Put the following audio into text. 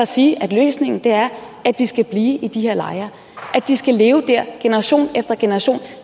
sige at løsningen er at de skal blive i de her lejre at de skal leve der generation efter generation